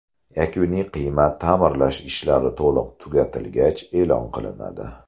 Yakuniy qiymat ta’mirlash ishlari to‘liq tugatilgach e’lon qilinadi.